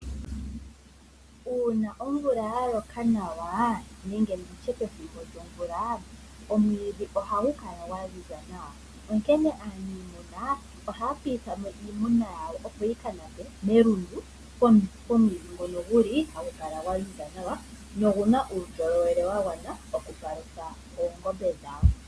Uuna omvula ya loka nawa nenge pethimbo lyomvula omwiidhi ohagu kala gwa ziza nawa. Aaniimuna ohaya piitha mo iimuna yawo, opo yi ka nape melundu pomwiidhi ngono hagu kala gwa ziza nawa nogu na uundjolowele wa gwana okupalutha oongombe dhawo.